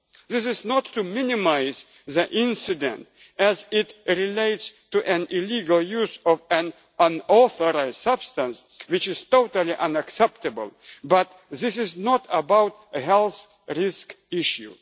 This is not to minimise the incident, as it relates to illegal use of an unauthorised substance, which is totally unacceptable, but this is not about a health risk issue.